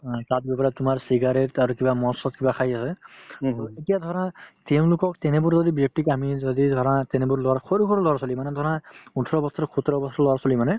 অ, তাত গৈ পেলাই তোমাৰ cigarette মদ-চদ কিবা খাই আছে এতিয়া ধৰা তেওঁলোকক তেনেবোৰ যদি ব্যক্তিক আমি যদি ধৰা তেনেবোৰ লৰা সৰু সৰু লৰা-ছোৱালী মানে ধৰা ওঠৰ বছৰৰ সোতৰ বছৰৰ লৰা-ছোৱালী মানে